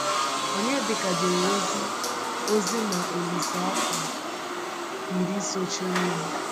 Onyedịka jere ozi ozi na Olíse afọ iri sochirinụ.